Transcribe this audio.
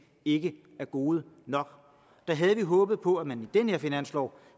ikke er gode nok der havde vi håbet på at man i den her finanslov